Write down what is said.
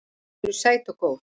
Þau eru sæt og góð.